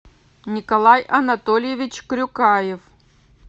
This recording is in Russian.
николай анатольевич крюкаев